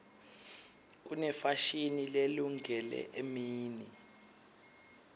kunefashini lelungele emini